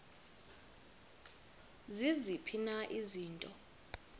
ziziphi na izinto